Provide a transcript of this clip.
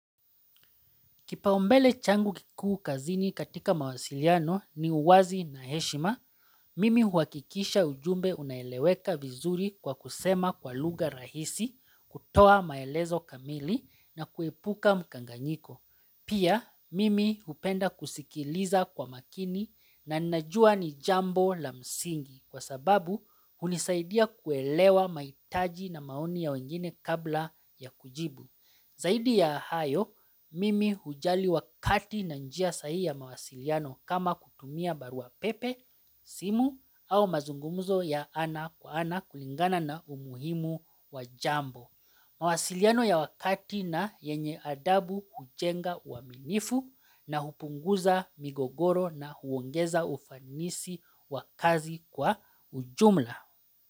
Kipaumbele changu kikuu kazini katika mawasiliano ni uwazi na heshima, mimi huakikisha ujumbe unaeleweka vizuri kwa kusema kwa lugha rahisi, kutoa maelezo kamili na kuepuka mkanganyiko. Pia, mimi upenda kusikiliza kwa makini na najua ni jambo la msingi kwa sababu unisaidia kuelewa mahitaji na maoni ya wengine kabla ya kujibu. Zaidi ya hayo, mimi hujali wakati na njia sahi ya mawasiliano kama kutumia barua pepe, simu au mazungumuzo ya ana kwa ana kulingana na umuhimu wa jambo. Mawasiliano ya wakati na yenye adabu kujenga waminifu na hupunguza migogoro na huongeza ufanisi wa kazi kwa ujumla.